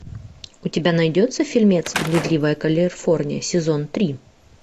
у тебя найдется фильмец блудливая калифорния сезон три